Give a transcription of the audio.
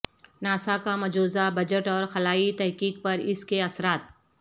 NASA کا مجوزہ budget اور خلائی تحقیق پر اس کے اثرات